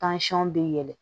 bɛ yɛlɛn